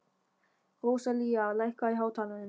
Róselía, lækkaðu í hátalaranum.